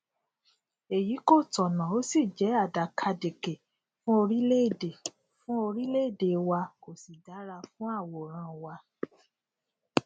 èyí kò tọnà ó sì jẹ àdàkàdekè fún orílẹèdè fún orílẹèdè wa kò sì dára fún àwòrán wa